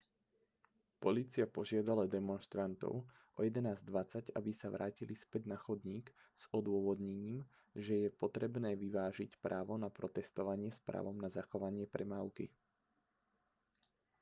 polícia požiadala demonštrantov o 11:20 aby sa vrátili späť na chodník s odôvodnením že je potrebné vyvážiť právo na protestovanie s právom na zachovanie premávky